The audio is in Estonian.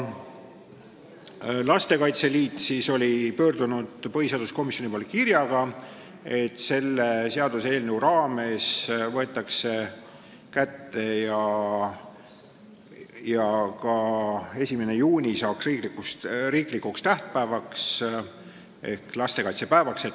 Lastekaitse Liit oli pöördunud põhiseaduskomisjoni poole kirjaga, et selle seaduseelnõu raames võiks muuta ka 1. juuni ehk lastekaitsepäeva riiklikuks tähtpäevaks.